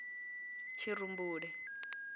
tshirumbule